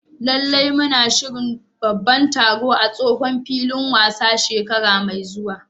Lallai! Muna shirin babban taro a tsohon filin wasa shekara mai zuwa.